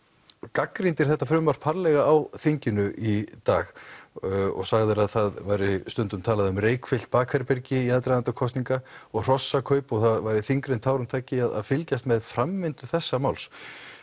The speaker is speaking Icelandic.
gagnrýndir þetta frumvarp harðlega á þinginu í dag og sagðir að það væri stundum talað um reykfyllt bakherbergi í aðdraganda kosninga og hrossakaup og það væri þyngra en tárum taki að fylgjast með framvindu þessa máls